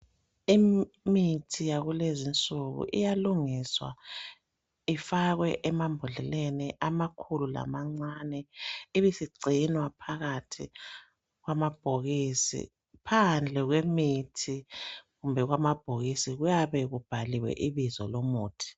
Imithi yakulezinsuku iyalungiswa ifakwe emambodleleni amakhulu lamancane, ibisigcinwa phakathi kwamabhokisi, phandle kwemithi kumbe kwamabhokisi kuyabe kubhaliwe ibizo lomuthi.